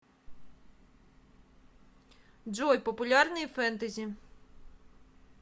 джой популярные фентези